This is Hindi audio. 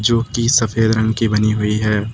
जो कि सफेद रंग की बनी हुई है।